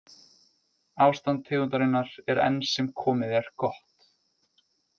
Ástand tegundarinnar er enn sem komið er gott.